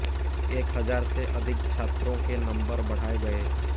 एक हजार से अधिक छात्रों के नंबर बढ़ाए गए